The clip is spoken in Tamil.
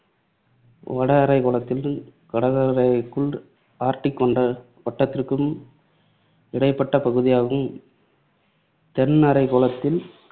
வடஅரை கோளத்தில் கடகரேகைக்கும், ஆர்டிக் வட்டத்திற்கும் இடைப்பட்ட பகுதியாகவும், தென்அரை கோளத்தில்